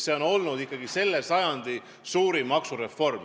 See on olnud ikkagi selle sajandi suurim maksureform.